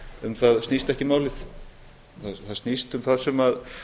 um það snýst ekki málið það snýst um það sem